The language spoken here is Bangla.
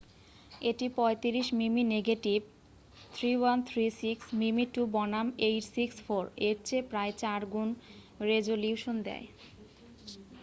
এটি 35 মিমি নেগেটিভ 3136 মিমি2 বনাম 864 এর চেয়ে প্রায় 4 গুণ রেজোলিউশন দেয়।